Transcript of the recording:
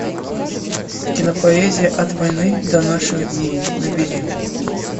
кинопоэзия от войны до наших дней набери